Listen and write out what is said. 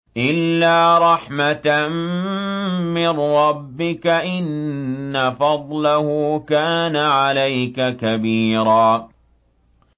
إِلَّا رَحْمَةً مِّن رَّبِّكَ ۚ إِنَّ فَضْلَهُ كَانَ عَلَيْكَ كَبِيرًا